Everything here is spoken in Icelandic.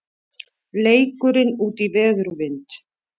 Leikurinn útí veður og vind